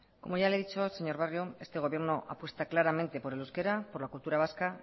como ya le he dicho señor barrio este gobierno apuesta claramente por el euskera por la cultura vasca